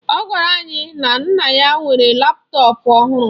Ọ gwara anyị na nna ya nwere laptọọpụ ọhụrụ.